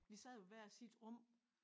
Vi sad i hver sit rum